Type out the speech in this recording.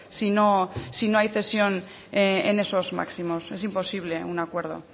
si no si no hay cesión en esos máximos es imposible a un acuerdo